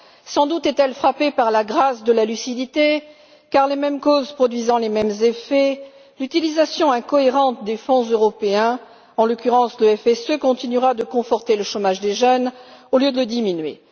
Sans doute est elle frappée par la grâce de la lucidité car, les mêmes causes produisant les mêmes effets, l'utilisation incohérente des fonds européens, en l'occurrence le FSE, continuera de conforter le chômage des jeunes au lieu de le diminuer.